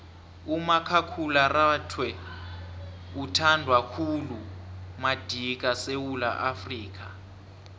umakhakhulararhwe uthandwa khulu madika esewula afrika